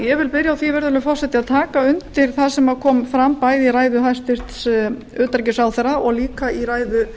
ég vil byrja á að taka undir það sem fram kom í ræðu hæstvirts utanríkisráðherra og einnig í ræðu